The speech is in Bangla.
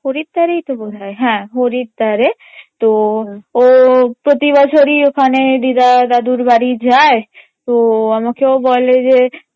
হরিদ্বারেই তো বোধহয়, হ্যাঁ হরিদ্বারে তো ও প্রতি বছরেই ওখানে দীদা দাদুর বাড়ি যায় ও আমাকেও বলে যে